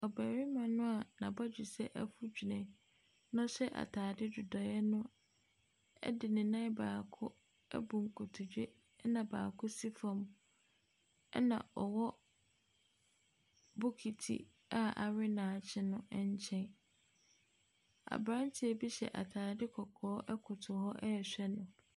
Ɔbarima no a n'abodwesɛ afu dwene na ɔhyɛ ataade dodoeɛ de nan baako abu nkotodwe. Na baako si fam. Na Ɔwɔ bokiti a awe a akye no nkyɛn. Abranteɛ bi hyɛ ataade kɔkɔɔ koto hɔ rehwɛ no.